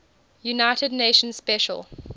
united nations special